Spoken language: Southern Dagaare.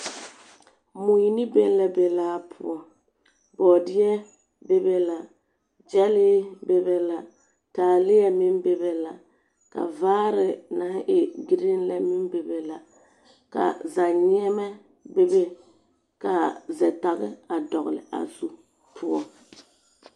Mui ne bɛŋɛ la be laa poɔ, bɔɔdeɛ be be la, gyɛnlee meŋ be be la, taaleɛ meŋ be be la, ka vaare naŋ e giriŋ lɛ meŋ be be la, ka zɛneɛma be be, ka zɛtage a dɔgle a zu poɔ.